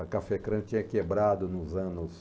A Cafecrã tinha quebrado nos anos...